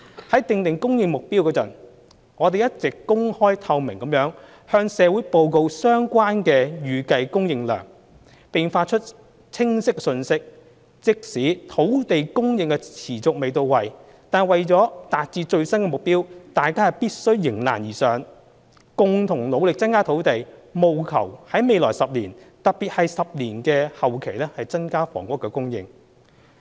在訂定供應目標時，我們一直公開透明地向社會報告相關的預計供應量，並發出清晰的信息：即使土地供應持續未到位，為達致最新的目標，大家必須迎難而上，共同努力增加土地，務求在未來10年——特別是10年期內的後期——增加房屋供應。